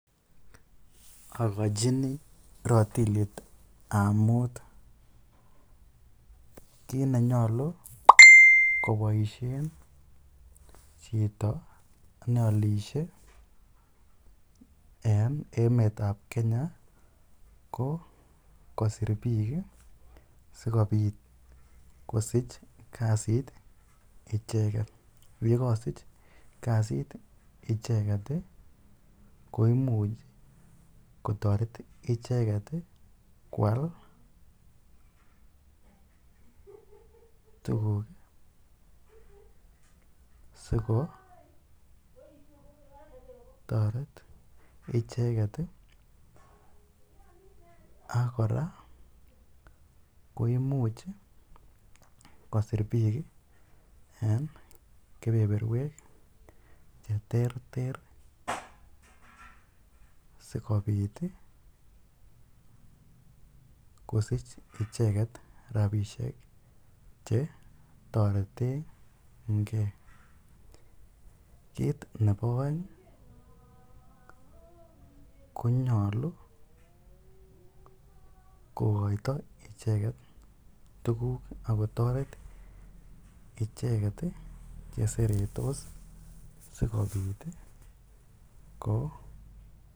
Okochini rotilitab mut kinenyolu koboishen chito neolishe en emetab Kenya ko kosir biik sikobit kosich kasit icheket, yekosich kasit icheket koimuch kotoret icheket kwaal tukuk sikotoret icheket ak kora koimuch kosir biik en kebeberwek cheterter sikobit kosich icheket rabishek chetoretenge, kiit nebo oeng konyolu kokoito icheket tukuk ak kotoret icheket cheseretos sikobit ko.